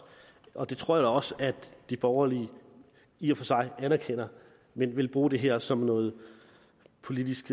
og det tror jeg også at de borgerlige i og for sig anerkender men de vil bruge det her som noget politisk